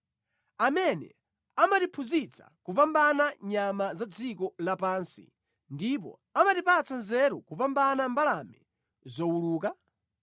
amene amatiphunzitsa kupambana nyama za dziko lapansi ndipo amatipatsa nzeru kupambana mbalame zowuluka?’